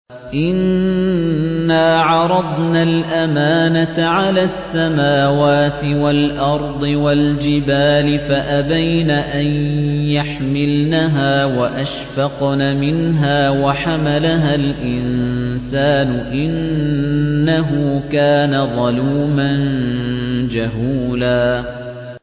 إِنَّا عَرَضْنَا الْأَمَانَةَ عَلَى السَّمَاوَاتِ وَالْأَرْضِ وَالْجِبَالِ فَأَبَيْنَ أَن يَحْمِلْنَهَا وَأَشْفَقْنَ مِنْهَا وَحَمَلَهَا الْإِنسَانُ ۖ إِنَّهُ كَانَ ظَلُومًا جَهُولًا